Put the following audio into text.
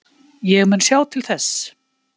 Ég mun sjá til þess.